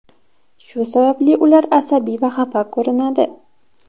Shu sababli ular asabiy va xafa ko‘rinadi.